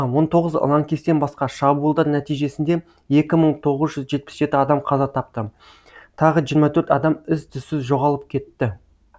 он тоғыз лаңкестен басқа шабуылдар нәтижесінде екі мың тоғыз адам қаза тапты тағы жиырма төрт адам із түссіз жоғалып кетті